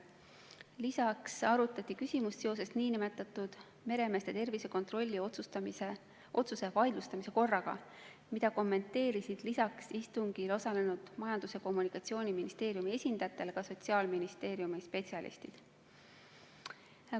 Lisaks arutati küsimust seoses nn meremeeste tervisekontrolli otsuse vaidlustamise korraga, mida kommenteerisid peale istungil osalenud Majandus- ja Kommunikatsiooniministeeriumi esindajate ka Sotsiaalministeeriumi spetsialistid.